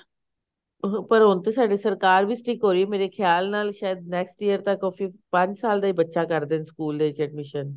ਪਰ ਹੁਣ ਤੇ ਸਾਡੇ ਸਰਕਾਰ ਵੀ stick ਹੋਈ ਮੇਰੇ ਖਿਆਲ ਨਾਲ ਸ਼ਾਇਦ next year ਤੱਕ ਉਹ ਫਿਰ ਪੰਜ ਸਾਲ ਦਾ ਹੀ ਬੱਚਾ ਕਰ ਦੇਣ ਸਕੂਲ ਦੇ ਵਿੱਚ admission